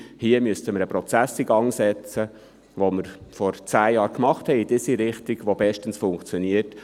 Hier müssten wir den Prozess in Gang setzen, den wir vor zehn Jahren angestossen hatten, in eine Richtung, wo es bestens funktioniert.